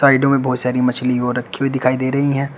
साइडो में बहोत सारी मछली हो रखी हुई दिखाई दे रही है।